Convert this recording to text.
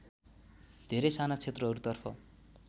धेरै साना क्षेत्रहरूतर्फ